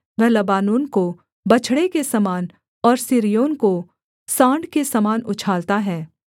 वह लबानोन को बछड़े के समान और सिर्योन को साँड़ के समान उछालता है